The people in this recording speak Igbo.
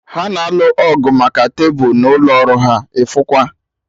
Ha na-alụ ọgụ maka tebụl n'ụlọ ọrụ ha, ịfụkwa!